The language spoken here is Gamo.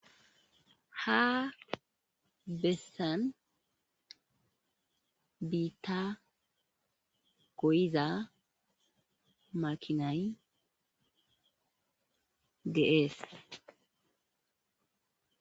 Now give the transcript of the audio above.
Ha besan bita goyiza makinay de'es.